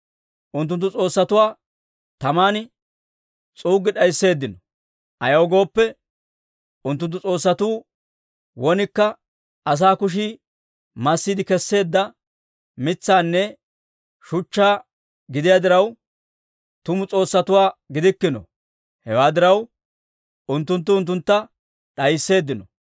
Unttunttu s'oossatuwaa taman s'uuggi d'aysseeddino; ayaw gooppe, unttunttu s'oossatuu wonikka asaa kushii massiide kesseedda mitsaanne shuchchaanne gidiyaa diraw, tumu s'oossatuwaa gidikkino; hewaa diraw, unttunttu unttuntta d'aysseeddino.